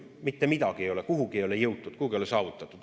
Mitte midagi ei ole, kuhugi ei ole jõutud, midagi ei ole saavutatud.